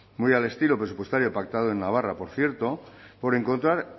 muy al estilo presupuestario pactado en navarra por cierto por encontrar